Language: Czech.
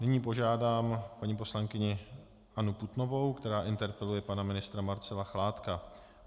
Nyní požádám paní poslankyni Annu Putnovou, která interpeluje pana ministra Marcela Chládka.